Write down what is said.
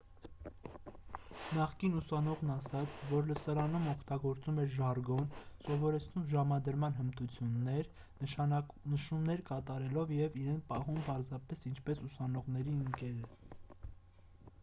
նախկին ուսանողն ասաց որ լսարանում օգտագործում էր ժարգոն սովորեցնում ժամադրման հմտություններ նշումներ կատարելով և իրեն պահում պարզապես ինչպես ուսանողների ընկերը